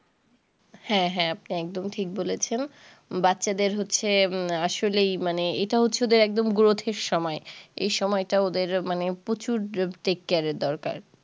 হ্যাঁ হ্যাঁ আপনি একদম ঠিক বলেছেন বাচ্চাদের হচ্ছে আসলেই মানে এটা হচ্ছে ওদের একদম growth এর সময় এই সময় তা ওদের মানে প্রচুর take care এর দরকার